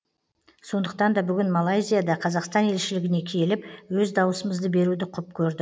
сондықтан да бүгін малайзияда қазақстан елшілігіне келіп өз дауысымызды беруді құп көрді